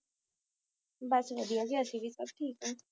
ਬੱਸ ਵਧੀਆ ਜੀ ਅਸੀਂ ਵੀ ਸਬ ਠੀਕ ਆ